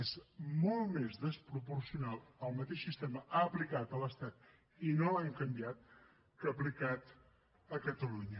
és molt més despropocional el mateix sistema aplicat a l’estat i no l’han canviat que aplicat a catalunya